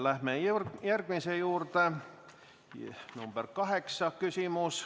Läheme järgmise küsimuse juurde, see on küsimus nr 8.